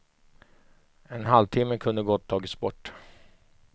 En halvtimme kunde gott tagits bort.